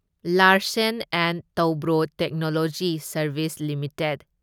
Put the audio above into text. Larsen and Toubro Technology Services limited